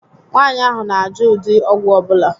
Nwaànyị ahụ na -ajụ ụdị ọgwụ ọbula